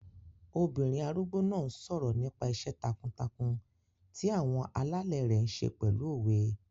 Obìnrin arúgbó náà n sọ̀rọ̀ nípa iṣẹ́ takuntakun ti àwọn alẹ́lẹ̀ rẹ̀ ṣe pẹ̀lú òwe